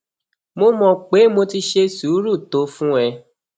mo mọ pé mo ti ṣe sùúrù tó fún ẹ